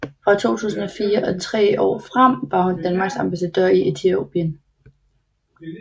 Fra 2004 og tre år frem var hun Danmarks ambassadør i Etiopien